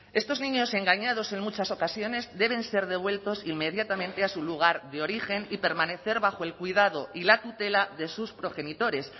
estos niños engañados en muchas ocasiones deben ser devueltos inmediatamente a su lugar de origen y permanecer bajo el cuidado y la tutela de sus progenitores